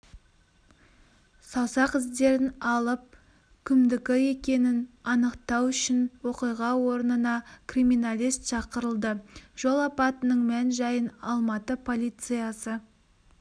саусақ іздерін алып кімдікі екенін анықтау үшін оқиға орнына криминалист шақырылды жол апатының мән-жайын алматы полициясы